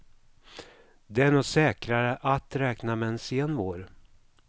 Det är nog säkrare att räkna med en sen vår.